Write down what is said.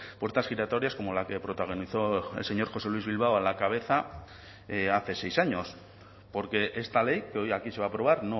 puertas giratorias como la que protagonizó el señor josé luis bilbao en la cabeza hace seis años porque esta ley que hoy aquí se va a aprobar